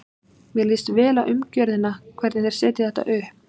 Mér líst vel á umgjörðina, hvernig þeir setja þetta upp.